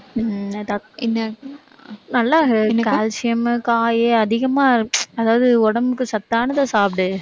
உம் என்னது என்ன நல்லா calcium காய் அதிகமா அதாவது உடம்புக்கு சத்தானதை சாப்பிடு